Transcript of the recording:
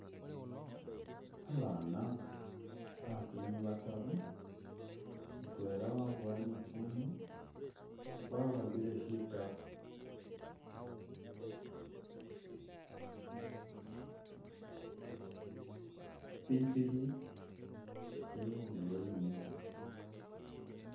Abana baatini bataru, mutwela wabowa litsune wa'ambile shitabo, ipikhipikhi ili khundulo yimikhile